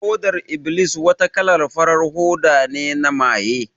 Hodar iblis wata kalan farar hoda ne na maye